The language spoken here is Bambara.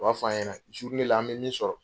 U b'a f'a ɲɛna an bɛ min sɔrɔ.